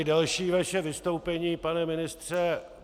I další vaše vystoupení, pane ministře.